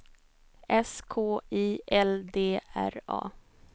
S K I L D R A